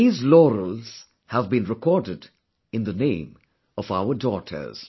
These laurels have been recorded in the name of our daughters